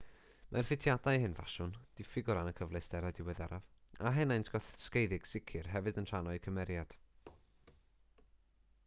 mae'r ffitiadau hen ffasiwn diffyg o ran y cyfleusterau diweddaraf a henaint gosgeiddig sicr hefyd yn rhan o'u cymeriad